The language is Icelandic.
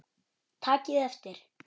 Takið eftir!